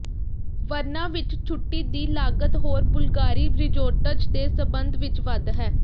ਵਰਨਾ ਵਿੱਚ ਛੁੱਟੀ ਦੀ ਲਾਗਤ ਹੋਰ ਬੁਲਗਾਰੀ ਰਿਜ਼ੋਰਟਜ਼ ਦੇ ਸਬੰਧ ਵਿੱਚ ਵੱਧ ਹੈ